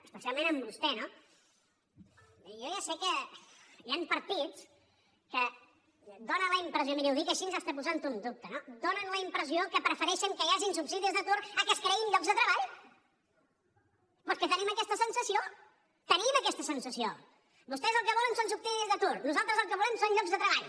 especialment amb vostè no jo ja sé que hi han partits que donen la impressió miri ho dic així fins i tot posant ho en dubte no que prefereixen que hi hagin subsidis d’atur al fet que es creïn llocs de treball és que tenim aquesta sensació tenim aquesta sensació vostès el que volen són subsidis d’atur nosaltres el que volem són llocs de treball